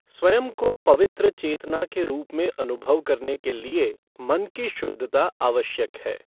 स्वयं को पवित्र चेतना के रूप में अनुभव करने के लिए मन की शुद्धता आवश्यक है।